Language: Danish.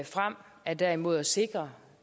frem er derimod at sikre